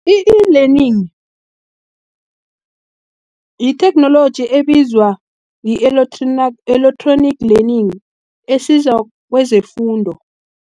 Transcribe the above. I-e-Learning, yitheknoloji ebizwa i-electronic learning, esiza kwezefundo.